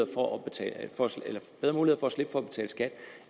for at betale skat